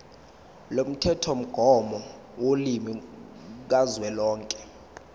lomthethomgomo wolimi kazwelonke